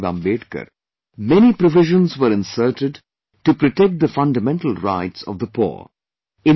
Baba Saheb Ambedkar, many provisions were inserted to protect the fundamental rights of the poor